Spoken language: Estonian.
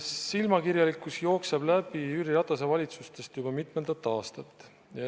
Silmakirjalikkus jookseb Jüri Ratase valitsustest läbi juba mitmendat aastat.